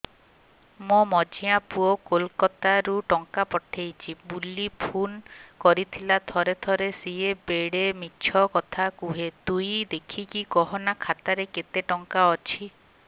ମୋର ମଝିଆ ପୁଅ କୋଲକତା ରୁ ଟଙ୍କା ପଠେଇଚି ବୁଲି ଫୁନ କରିଥିଲା ଥରେ ଥରେ ସିଏ ବେଡେ ମିଛ କଥା କୁହେ ତୁଇ ଦେଖିକି କହନା ଖାତାରେ କେତ ଟଙ୍କା ଅଛି